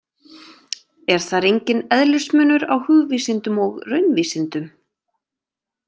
Er þar enginn eðlismunur á hugvísindum og raunvísindum.